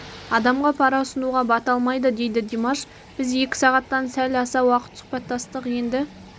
адамға пара ұсынуға бата алмайды дейді димаш біз екі сағаттан сәл аса уақыт сұхбаттастық енді